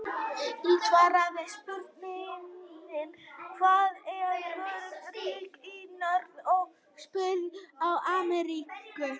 Í svari við spurningunni Hvað eru mörg ríki í Norður- og Suður-Ameríku?